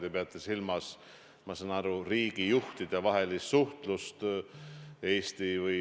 Lugupeetud peaminister!